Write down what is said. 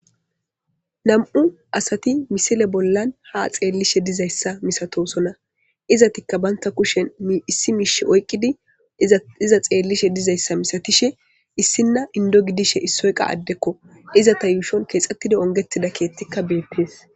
Nam'u asati misile bollan ha xeellishe dizayssa misatosona izatikka baynta kushen issi miish oyqqidi iza xeellishe dizayssa misatishe issinna indo gidishe issoyqa addekko izata yuushon keexxettidi ongetida keettikka beettees.